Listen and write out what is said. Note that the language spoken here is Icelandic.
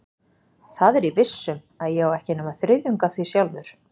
Það er ég viss um, að ég á ekki nema þriðjung af því sjálfur.